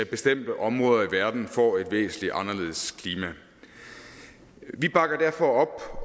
bestemte områder i verden får et væsentlig anderledes klima vi bakker derfor op